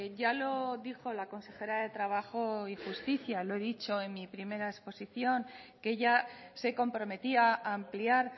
ya lo dijo la consejera de trabajo y justicia lo he dicho en mi primera exposición que ella se comprometía a ampliar